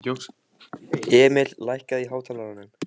Emil, lækkaðu í hátalaranum.